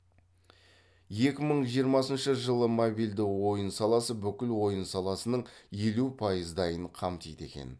екі мың жиырмасыншы жылы мобилді ойын саласы бүкіл ойын саласының елу пайыздайын қамтиды екен